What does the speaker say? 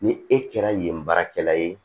Ni e kɛra yen baarakɛla ye